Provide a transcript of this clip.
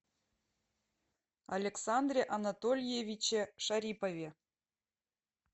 александре анатольевиче шарипове